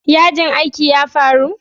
Yajin aikin ya faru?